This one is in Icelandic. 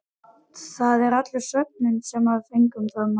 Það var allur svefninn sem við fengum þá nótt.